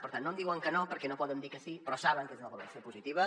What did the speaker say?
per tant no em diuen que no perquè no poden dir que sí però saben que és una valoració positiva